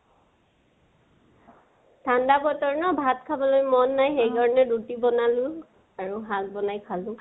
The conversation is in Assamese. ঠান্দা বতৰ না, ভাত খাবলৈ মন নাই । সেইকাৰণে, ৰুটি বনালো আৰু শাক বনাই খালো